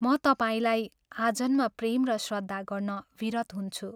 म तपाईलाई आजन्म प्रेम र श्रद्धा गर्न विरत हुन्छु।